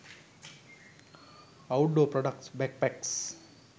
outdoor products backpacks